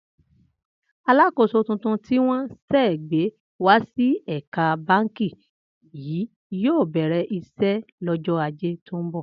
Alákòóso tuntun tí wó̩n sè̩ gbé wá sí è̩ka báǹkì yìí yóò bè̩rè̩ is̩é̩ lọ́jó̩ Ajé tó ń bò̩